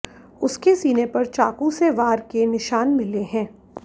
उसके सीने पर चाकू से वार के निशान मिले हैं